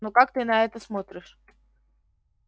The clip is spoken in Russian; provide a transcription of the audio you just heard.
ну как ты на это смотришь